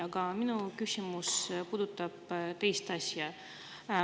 Aga minu küsimus puudutab teist asja.